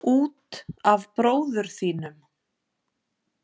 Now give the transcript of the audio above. Út af bróður þínum.